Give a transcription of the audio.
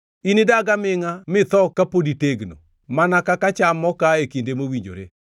Inidag amingʼa mitho kapod itegno, mana ka cham mokaa e kinde mowinjore.